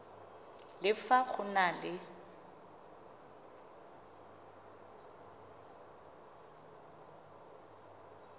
le fa go na le